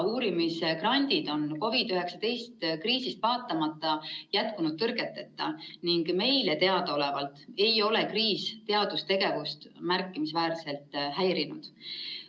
Uurimisgrandid on COVID‑19 kriisile vaatamata jätkunud tõrgeteta ning meile teadaolevalt ei ole kriis teadustegevust märkimisväärselt häirinud.